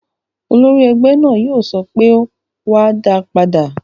Olórí ẹgbẹ́ náà yóò sọ pé "wá, dáa padà!"